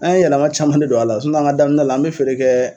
An ye yɛlɛma caman de don a la an ŋa daminɛ la an be feere kɛ